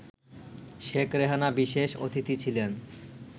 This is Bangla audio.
শেখ রেহানা বিশেষ অতিথি ছিলেন